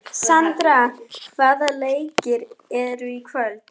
Sandra, hvaða leikir eru í kvöld?